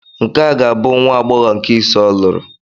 Nke a ga-abụ nwa agbọghọ nke ise ọ lụrụ.